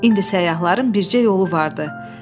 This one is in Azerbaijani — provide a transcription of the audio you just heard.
İndi səyyahların bircə yolu vardı.